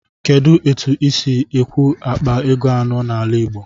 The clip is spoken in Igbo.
Kedụ etu ịsi ekwụ akpa ego anọ n'ala igbo?